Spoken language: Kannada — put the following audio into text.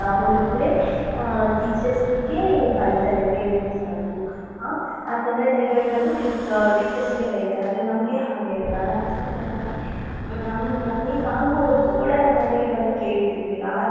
ಹೊಡ್ದ್ರೆ ಅ teachersಗೆ ಬೈತಾರೆ parents ಬಂದು ಅ ತಂದೆ ತಾಯಿಗಳ್ ಬಂದುt~ teachersಗೆ ಬೈತಾರೆ ಆದ್ರೆ ನಮಗೆ ಹಾಗೆ ಅಲ್ಲ ನಾವ್ ಎಷ್ಟು ಚನ್ನಾಗಿ ನಮ್ಗೆ ನಮ್ಗೆ ನಾಲ್ಕು ಹೊಡ್ದ್ರು ಕೂಡ ನಮ್ ಮನೇಲಿ ಬಂದು ಕೇಳ್ತಿರ್ಲಿಲ್ಲ.